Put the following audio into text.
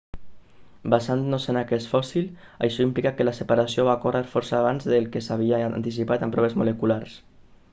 basant-nos en aquest fòssil això implica que la separació va ocórrer força abans del que s'havia anticipat amb proves moleculars